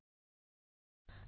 सहभागाबद्दल धन्यवाद